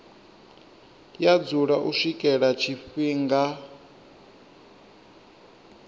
ya dzula u swikela tshifhinga